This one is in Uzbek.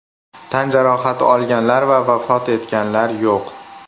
Tan jarohati olganlar va vafot etganlar yo‘q.